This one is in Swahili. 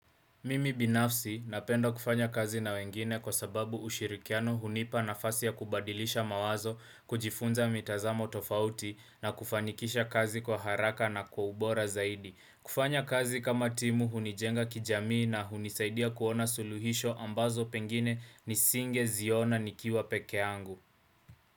Mimi binafsi napenda kufanya kazi na wengine kwa sababu ushirikiano hunipa nafasi ya kubadilisha mawazo kujifunza mitazamo tofauti na kufanikisha kazi kwa haraka na kwa ubora zaidi. Kufanya kazi kama timu hunijenga kijamii na hunisaidia kuona suluhisho ambazo pengine nisinge ziona nikiwa pekee yangu.